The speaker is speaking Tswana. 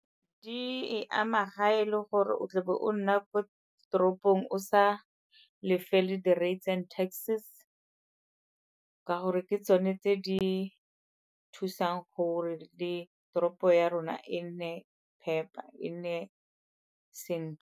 Di e ama ga e le gore o tlebe o nna ko toropong o sa lefele di-rates and taxes, ka gore ke tsone tse di thusang gore le toropo ya rona e nne phepa, e nne sentle.